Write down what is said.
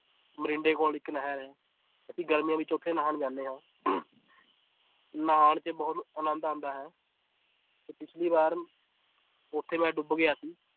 ਮਰਿੰਡੇ ਕੋਲ ਇੱਕ ਨਹਿਰ ਹੈ ਅਸੀਂ ਗਰਮੀਆਂ ਵਿੱਚ ਉੱਥੇ ਨਹਾਉਣ ਜਾਂਦੇ ਹਾਂ ਨਹਾਉਣ 'ਚ ਬਹੁਤ ਆਨੰਦ ਆਉਂਦਾ ਹੈ ਤੇ ਪਿੱਛਲੀ ਵਾਰ ਉੱਥੇ ਮੈਂ ਡੁੱਬ ਗਿਆ ਸੀ